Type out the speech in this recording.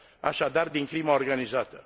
așadar, din crima organizată.